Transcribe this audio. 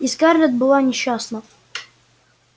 и скарлетт была несчастна